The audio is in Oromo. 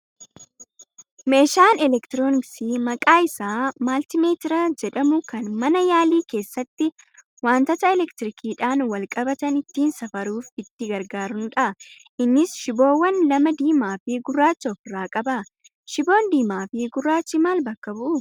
Meeshaan elektirooniksii maqaan isaa maltiimeetira jedhamu kan mana yaalii keessatti wantoota elektiriikiidhaan wal qabatan ittiin safaruuf itti gargaaranudha. Innis shiboowwan lama diimaa fi gurraacha ofirraa qaba. Shiboon diimaa fi gurraachi maal bakka bu'uu?